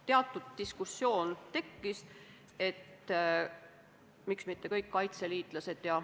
Teatud diskussioon meil tekkis, et miks mitte kõik kaitseliitlased.